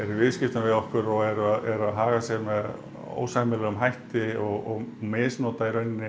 viðskiptum við okkur og er að haga sér með ósæmilegum hætti og misnota